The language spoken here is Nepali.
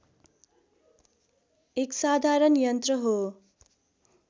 एक साधारण यन्त्र हो